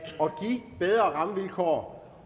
bedre rammevilkår